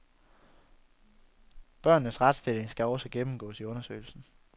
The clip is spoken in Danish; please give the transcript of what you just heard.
Børnenes retsstilling skal også gennemgås i undersøgelsen.